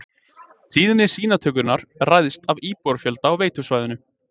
Tíðni sýnatökunnar ræðst af íbúafjölda á veitusvæðinu.